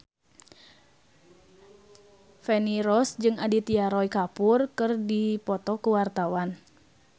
Feni Rose jeung Aditya Roy Kapoor keur dipoto ku wartawan